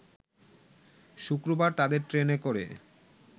শুক্রবার তাদের ট্রেনে করে